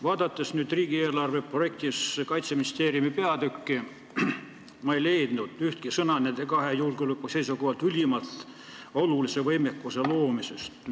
Vaadates riigieelarve projektis Kaitseministeeriumi peatükki, ei leidnud ma ühtegi sõna nende kahe julgeoleku seisukohalt ülimalt olulise võimekuse loomise kohta.